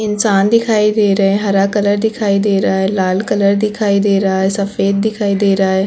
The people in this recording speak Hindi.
इंसान दिखाई दे रहा है हरा कलर दिखाई दे रहा है लाल कलर दिखाई दे रहा है सफेद दिखाई दे रहा है।